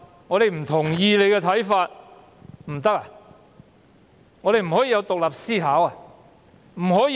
我們不可以有獨立思考嗎？